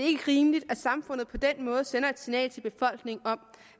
ikke rimeligt at samfundet på den måde sender et signal til befolkningen om